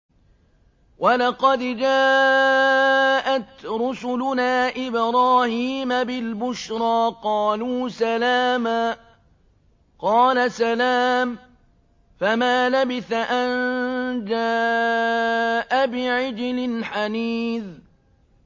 وَلَقَدْ جَاءَتْ رُسُلُنَا إِبْرَاهِيمَ بِالْبُشْرَىٰ قَالُوا سَلَامًا ۖ قَالَ سَلَامٌ ۖ فَمَا لَبِثَ أَن جَاءَ بِعِجْلٍ حَنِيذٍ